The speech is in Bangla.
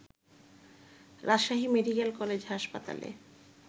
রাজশাহী মেডিকলে কলেজ হাসপতালে